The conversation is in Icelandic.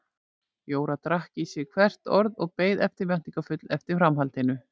Jóra drakk í sig hvert orð og beið eftirvæntingarfull eftir framhaldinu.